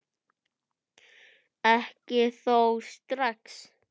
Ekki þó strax.